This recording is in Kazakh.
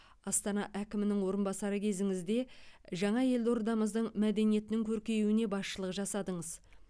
астана әкімнің орынбасары кезіңізде жаңа елордамыздың мәдениетінің көркеюіне басшылық жасадыңыз